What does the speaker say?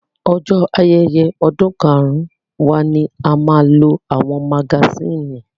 Ọjọ́ ayẹyẹ ọdún karun wa ni a máa lo àwọn magasínì.